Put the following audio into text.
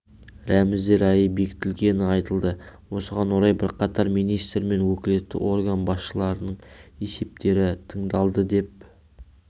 рәміздер айы бекітілгені айтылды осыған орай бірқатар министр мен өкілетті орган басшыларының есептері тыңдалды деп